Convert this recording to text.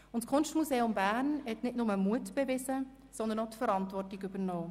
Das Kunstmuseum Bern hat nicht nur Mut bewiesen, sondern auch Verantwortung übernommen.